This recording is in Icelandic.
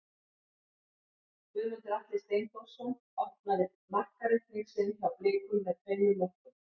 Guðmundur Atli Steinþórsson opnaði markareikning sinn hjá Blikum með tveimur mörkum.